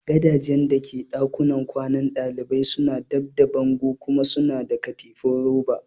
Gadajen da ke dakunan kwanan dalibai suna dab da bango kuma suna da katifu roba.